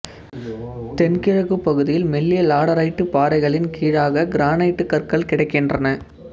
தென்கிழக்குப் பகுதியில் மெல்லிய லாடரைட்டு பாறைகளின் கீழாகக் கிரானைட்டுக் கற்கள் கிடைக்கின்றன